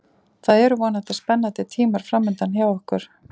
Það eru vonandi spennandi tímar framundan hjá okkur.